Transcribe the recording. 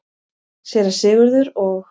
Séra Sigurður og